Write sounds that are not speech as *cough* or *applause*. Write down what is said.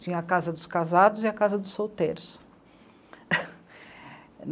Tinha a casa dos casados e a casa dos solteiros. *laughs*